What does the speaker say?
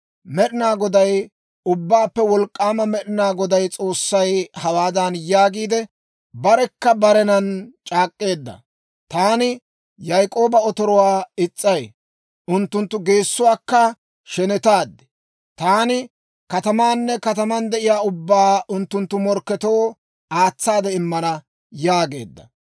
Med'inaa Goday, Ubbaappe Wolk'k'aama Med'inaa Goday S'oossay hawaadan yaagiide, barekka barenan c'aak'k'eedda; «Taani Yaak'ooba otoruwaa is's'ay; unttunttu geessuwaakka shenetaad; taani katamaanne kataman de'iyaa ubbaa unttunttu morkketoo aatsaade immana» yaageedda.